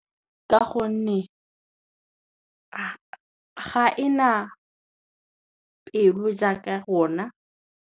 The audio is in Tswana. Ka gonne, ga e na pelo jaaka ya rona.